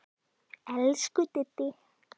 Elsku Diddi.